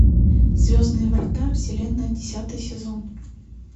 звездные врата вселенная десятый сезон